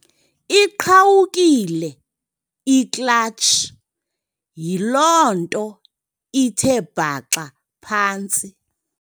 Iqhawukile iklatshi, yiloo nto ithe bhaxa phantsi.